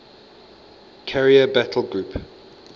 carrier battle group